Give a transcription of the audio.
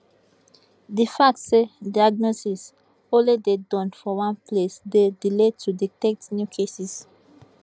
di fact say diagnosis only dey Accepted for one place dey delay to detect new cases